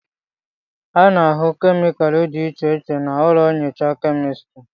A na-ahụ kemịkalụ dị iche iche na ụlọ nyocha kemịstri